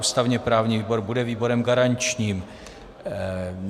Ústavně-právní výbor bude výborem garančním.